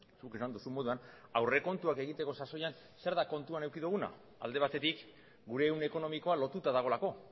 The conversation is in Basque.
zuk esan duzun moduan aurrekontuak egiteko sasoian zer da kontuan eduki duguna alde batetik gure ehun ekonomikoa lotuta dagoelako